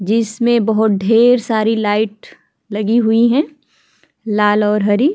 जिसमे बहुत ढेर सारी लाईट लगी हुई है लाल और हरी।